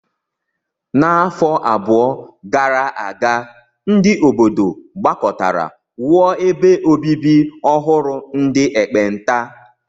N'afọ abụọ gara aga, ndị obodo gbakọtara wuo ebe obibi ọhụrụ ndị ekpenta.